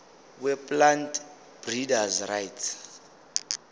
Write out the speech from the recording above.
weplant breeders rights